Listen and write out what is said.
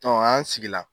an sigi la